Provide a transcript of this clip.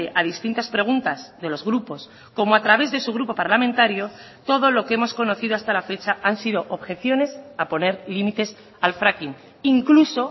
a distintas preguntas de los grupos como a través de su grupo parlamentario todo lo que hemos conocido hasta la fecha han sido objeciones a poner límites al fracking incluso